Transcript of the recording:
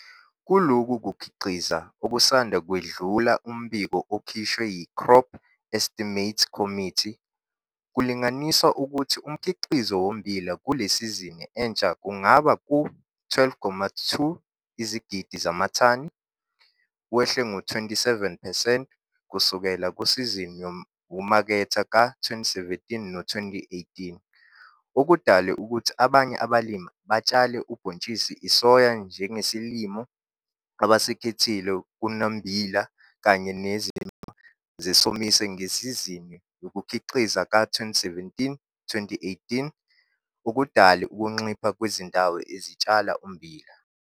Kulokhu kukhiqiza okusanda kwedlula umbiko okhishwe yi-Crop Estimates Committee, kulinganiswa ukuthi umkhiqizo wommbila kule sizini entsha ungaba ku-12,2 izigidi zamathani, wehle ngo-27 percent kusukela kusizini yokumaketha ka-2017 no 2018 okudalwe ukuthi abanye abalimi batshale ubhontshisi isoya njengesilimo abasikhethile kunommbila kanye nezimo zesomiso ngesizini yokukhiqiza ka-2017, 2018 okudale ukuncipha kwezindawo ezitshala ummbila.